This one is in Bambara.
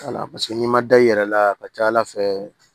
wala paseke n'i ma da i yɛrɛ la a ka ca ala fɛ